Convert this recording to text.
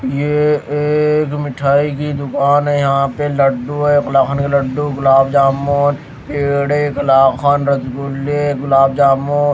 यह एक मिठाई की दुकान है यहाँ पे लड्डू है कलाखन के लड्डू गुलाब जामुन पेड़े कलाखन रतगुले गुलाब जामुन --